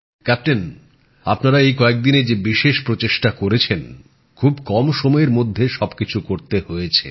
captain আপনারা এই কয়েকদিনে যে বিশেষ প্রচেষ্টা করেছেন খুব কম সময়ের মধ্যে সবকিছু করতে হয়েছে